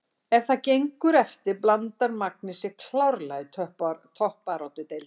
Ef það gengur eftir blandar Magni sér klárlega í toppbaráttu deildarinnar!